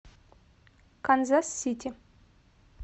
канзас сити